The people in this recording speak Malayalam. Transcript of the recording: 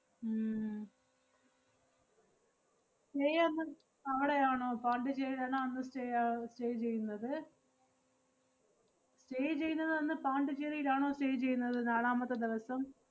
ഉം stay അന്ന് അവടെയാണോ, പോണ്ടിച്ചേരിയാണോ അന്ന് stay ആഹ് stay ചെയ്യുന്നത്? stay ചെയ്യുന്നതന്ന് പോണ്ടിച്ചേരിയിലാണോ stay ചെയ്യുന്നത് നാലാമത്തെ ദെവസം?